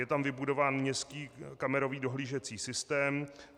Je tam vybudován městský kamerový dohlížecí systém.